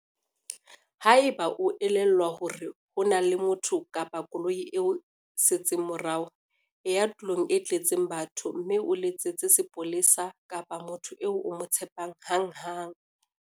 Haeba e o elellwa hore ho na le motho kapa koloi e o setseng morao, e ya tulong e tletseng batho mme o letsetse seponesa kapa motho eo o mo tshepang hanghang.